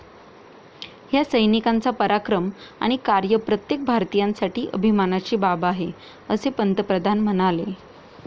ह्या सैनिकांचा पराक्रम आणि कार्य प्रत्येक भारतीयासाठी अभिमानाची बाब आहे, असे पंतप्रधान म्हणाले.